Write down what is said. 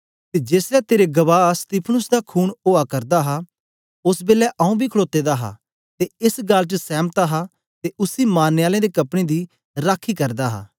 ते जेसलै तेरे गवाह स्तिफनुस दा खून ओआ करदा हा ओस बेलै आंऊँ बी खड़ोते दा हा ते एस गल्ल च सैमत हा ते उसी मारने आलें दे कपड़े दी राखी करदा हा